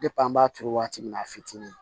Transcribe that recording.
an b'a turu waati min na a fitini